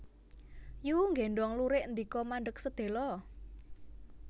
Yu nggéndhong lurik ndika mandheg sedhéla